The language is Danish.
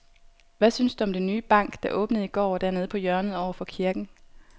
Hvad synes du om den nye bank, der åbnede i går dernede på hjørnet over for kirken?